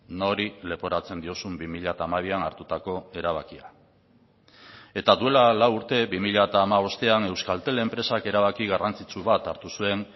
nori leporatzen diozun bi mila hamabian hartutako erabakia eta duela lau urte bi mila hamabostean euskaltel enpresak erabaki garrantzitsu bat hartu zuen